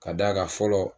Ka d'a kan fɔlɔ